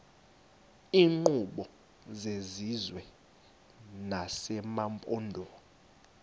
iinkqubo zesizwe nezamaphondo